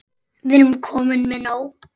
Við erum komin með nóg.